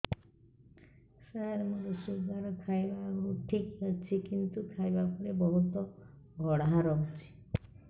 ସାର ମୋର ଶୁଗାର ଖାଇବା ଆଗରୁ ଠିକ ଅଛି କିନ୍ତୁ ଖାଇବା ପରେ ବହୁତ ବଢ଼ା ରହୁଛି